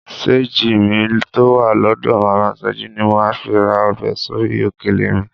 Ṣéńjì mi tó wà lọ́dọ̀ màmá Sọjí ni màá fi ra ọbẹ̀ sórí òkèlè mi